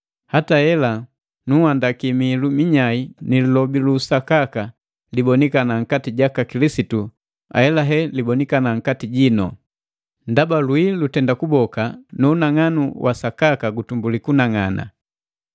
Hata hela, nunhandaki mihilu minyai ni lilobi lu usakaka libonikana nkati jaka Kilisitu ahelahe libonikana nkati jinu. Ndaba lwii lutenda kuboka, nu unang'anu wusakaka gutumbuli kunang'ana.